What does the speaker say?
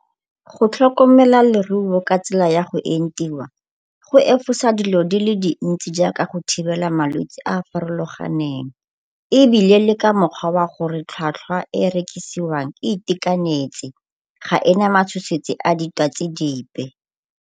Go tlhokomela leruo ka tsela ya go entiwa go efosa dilo di le dintsi jaaka go thibela malwetsi a a farologaneng ebile le ka mokgwa wa gore tlhwatlhwa e e rekisiwang e itekanetse, ga e na matshosetsi a ditwatsi dipe.